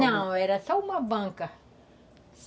Não, era só uma banca.